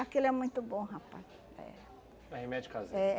Aquele é muito bom, rapaz. É. É remédio caseiro? É